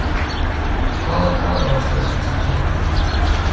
Hvaða dag varstu annars að tala um?